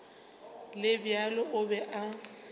le bjalo o be a